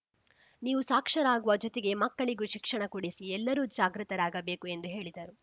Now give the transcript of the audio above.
ನೀವು ಸಾಕ್ಷರರಾಗುವ ಜೊತೆಗೆ ಮಕ್ಕಳಿಗೂ ಶಿಕ್ಷಣ ಕೊಡಿಸಿ ಎಲ್ಲರೂ ಜಾಗೃತರಾಗಬೇಕು ಎಂದು ಹೇಳಿದರು